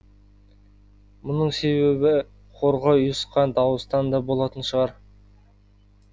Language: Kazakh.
мұның себебі хорға ұйысқан дауыстан да болатын шығар